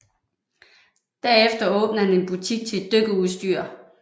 Derefter åbnede han en butik til dykkerudstyr